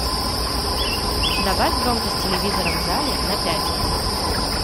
добавь громкость телевизора в зале на пять